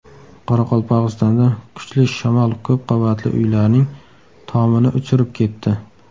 Qoraqalpog‘istonda kuchli shamol ko‘p qavatli uylarning tomini uchirib ketdi.